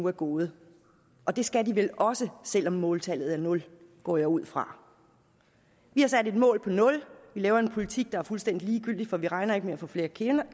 er gået og det skal de vel også selv om måltallet er nul går jeg ud fra vi har sat et mål på nul vi laver en politik der er fuldstændig ligegyldig for vi regner ikke med at få flere